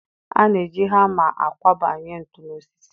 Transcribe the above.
A na-eji hama akwọbanye ntu n'osisi.